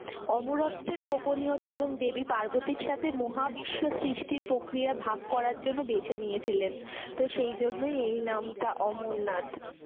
অমরত্বের গোপনীয়তা এবং দেবী পার্বতীর সাথে মহাবিশ্বের সৃষ্টির প্রক্রিয়া ভাগ করার জন্য বেছে নিয়েছিলেন। তো সেই জন্যই এই নামটা অমরনাথ।